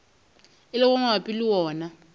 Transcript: e lego mabapi le wona